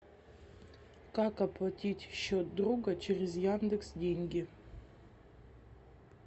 как оплатить счет друга через яндекс деньги